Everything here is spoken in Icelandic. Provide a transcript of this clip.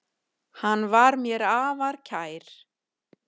Hann var mér afar kær.